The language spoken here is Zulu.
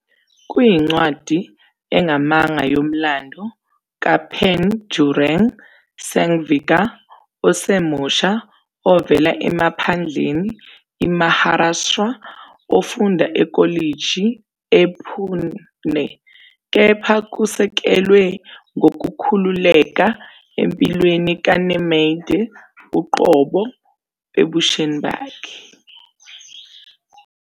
Kuyincwadi engamanga yomlando kaPandurang Sangvikar, osemusha ovela emaphandleni iMaharashtra ofunda ekolishi ePune, kepha kusekelwe ngokukhululeka empilweni kaNemade uqobo ebusheni bakhe.